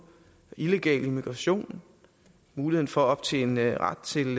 illegal immigration muligheden for at optjene ret til